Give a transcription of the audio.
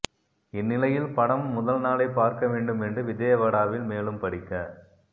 இந்நிலையில் படம் முதல் நாளே பார்க்க வேண்டும் என்று விஜயவாடாவில் மேலும் படிக்க